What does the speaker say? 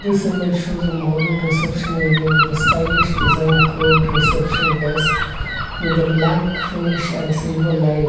This image show the modern reception area with the stylish design crowd reception desk with a black finish and silver line.